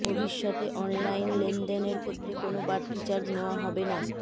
ভবিষ্যতে অনলাইন লেনদেনর ক্ষেত্রে কোনও বাড়তি চার্জ নেওয়া হবে না